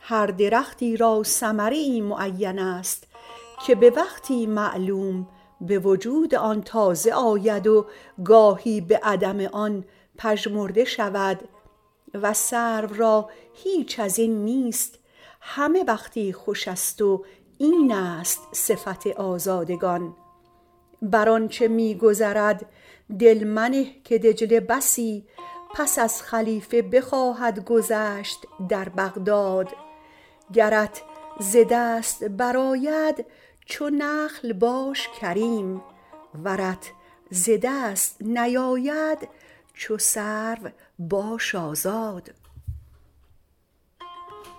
هر درختی را ثمره ای معین است که به وقتی معلوم به وجود آن تازه آید و گاهی به عدم آن پژمرده شود و سرو را هیچ از این نیست و همه وقتی خوش است و این است صفت آزادگان بر آنچه می گذرد دل منه که دجله بسی پس از خلیفه بخواهد گذشت در بغداد گرت ز دست برآید چو نخل باش کریم ورت ز دست نیاید چو سرو باش آزاد